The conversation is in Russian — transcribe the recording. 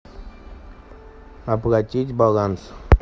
оплатить баланс